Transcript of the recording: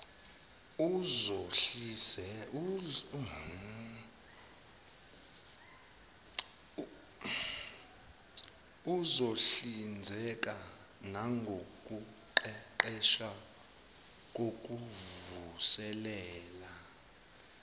uzohlinzeka nangokuqeqesha kokuvuselela